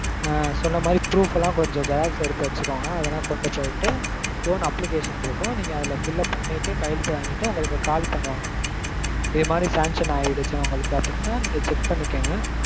ஆஹ் சொன்ன மாதிரி proof லாம் கொஞ்சம் xerox எடுத்து வச்சுக்கோங்க. அதெல்லாம் கொண்டு போய்ட்டு loan application இருக்கும். நீங்க அதுல fill up பண்ணிட்டு கையெழுத்து வாங்கிட்டு உங்களுக்கு call பண்ணுவாங்க mam. இதுமாதிரி sanction ஆயிருச்சு உங்களுக்கு அப்படீனா நீங்க check பண்ணிக்கோங்க.